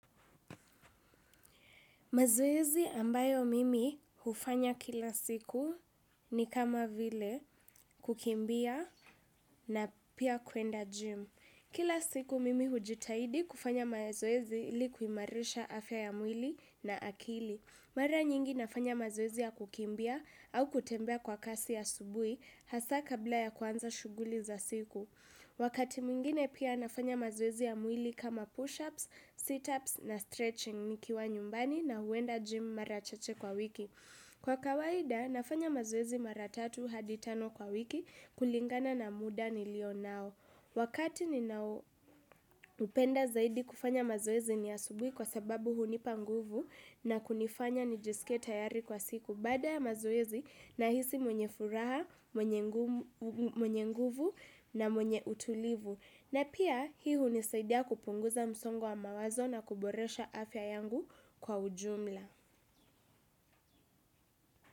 Mazoezi ambayo mimi hufanya kila siku ni kama vile kukimbia na pia kuenda gym. Kila siku mimi hujitahidi kufanya mazoezi ilikuimarisha afya ya mwili na akili. Mara nyingi nafanya mazoezi ya kukimbia au kutembea kwa kasi asubuhi hasaa kabla ya kuanza shughuli za siku. Wakati mwingine pia nafanya mazoezi ya mwili kama push-ups, sit-ups na stretching nikiwa nyumbani na huenda gym mara chache kwa wiki. Kwa kawaida nafanya mazoezi mara tatu hadi tano kwa wiki kulingana na muda nilio nao. Wakati ni nao upenda zaidi kufanya mazoezi ni asubuhi kwa sababu hunipa nguvu na kunifanya nijisike tayari kwa siku. Baada ya mazoezi na hisi mwenye furaha, mwenye nguvu na mwenye utulivu. Na pia hii unisaidia kupunguza msongo wa mawazo na kuboresha afya yangu kwa ujumla.